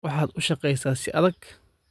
Waxaad u shaqeysaa si adag